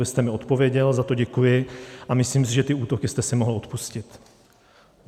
Vy jste mi odpověděl, za to děkuji, ale myslím si, že ty útoky jste si mohl odpustit.